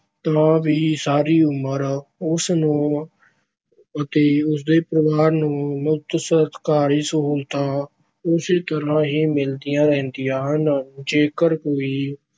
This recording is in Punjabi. ਤਾਂ ਵੀ ਸਾਰੀ ਉਮਰ ਉਸ ਨੂੰ ਅਤੇ ਉਸ ਦੇ ਪਰਿਵਾਰ ਨੂੰ ਮੁਫ਼ਤ ਸਰਕਾਰੀ ਸਹੂਲਤਾਂ ਉਸੇ ਤਰ੍ਹਾਂ ਹੀ ਮਿਲਦੀਆਂ ਰਹਿੰਦੀਆਂ ਹਨ। ਜੇਕਰ ਕੋਈ